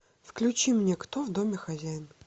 включи мне кто в доме хозяин